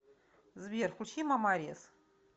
сбер включи ма мариес